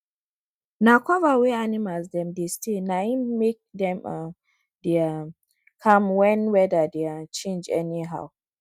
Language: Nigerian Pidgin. na cover wey animals dem dey stay na im make dem um dey um calm when weather dey um change anyhow